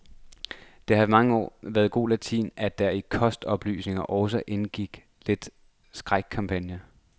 Det har i mange år været god latin, at der i kostoplysning også indgik lidt skrækkampagne.